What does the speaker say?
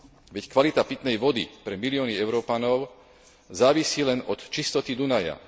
Veď kvalita pitnej vody pre milióny Európanov závisí len od čistoty Dunaja.